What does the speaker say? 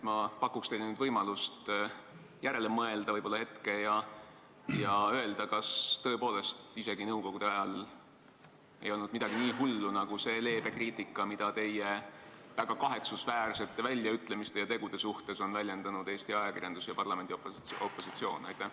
Ma pakun teile nüüd võimalust hetke järele mõelda ja öelda, kas tõepoolest isegi nõukogude ajal ei olnud midagi nii hullu nagu see leebe kriitika, mida teie väga kahetsusväärsete väljaütlemiste ja tegude pihta on teinud Eesti ajakirjandus ja parlamendi opositsioon.